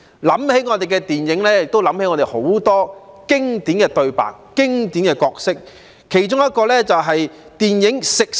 談到我們的電影，自然想起很多經典的對白、經典的角色，包括電影《食神》。